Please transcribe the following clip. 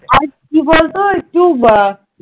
আর কি বলতো একটু